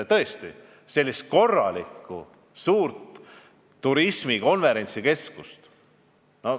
Tõesti on vaja korralikku, suurt turismi- ja konverentsikeskust.